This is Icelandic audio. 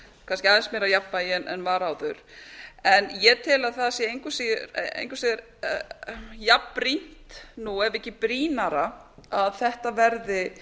kannski aðeins meira jafnvægi en var áður en ég tel að það sé engu að síður jafnbrýnt ef ekki brýnna að þetta verði